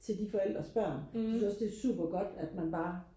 til de forældres børn så synes jeg også det er super godt at man bare